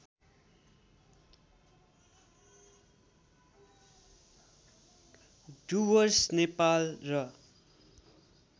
डुवर्स नेपाल र